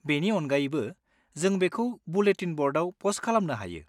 बेनि अनगायैबो, जों बेखौ बुलेटिन ब'र्डआव पस्ट खालामनो हायो।